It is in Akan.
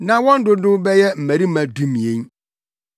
Na wɔn dodow bɛyɛ mmarima dumien.